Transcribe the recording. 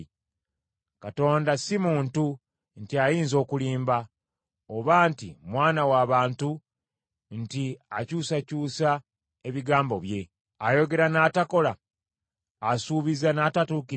Katonda si muntu, nti ayinza okulimba, oba nti mwana wa bantu nti akyusakyusa ebigambo bye. Ayogera n’atakola? Asuubiza n’atatuukiriza?